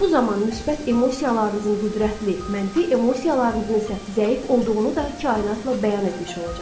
Bu zaman müsbət emosiyalarınızın qüvvətli, mənfi emosiyalarınızın isə zəif olduğunu da kainatla bəyan etmiş olacaqsınız.